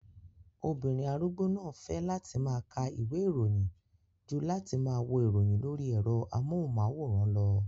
Obìnrin arúgbó náà fẹ́ láti máa ka ìwé ìròyìn ju láti wo ìròyìn lórí ẹ̀rọ amóhùnmáwòrán lọ